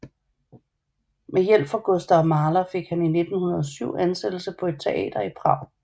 Med hjælp fra Gustav Mahler fik han i 1907 ansættelse på et teater i Prag